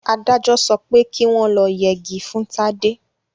Adájọ sọpẹ́ ki wọ́n lọ yegi fún Tádé.